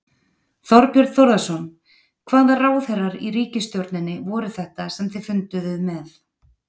Þorbjörn Þórðarson: Hvaða ráðherrar í ríkisstjórninni voru þetta sem þið funduðuð með?